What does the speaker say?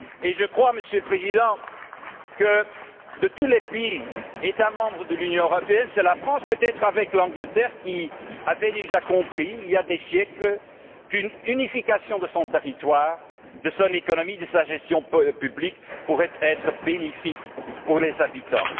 Je crois, Monsieur le Président, que, de tous les États membres de l'Union européenne, c'est la France, peut être avec l'Angleterre, qui avait déjà compris il y a des siècles qu'une unification de son territoire, de son économie, de sa gestion publique pourrait être bénéfique pour ses habitants.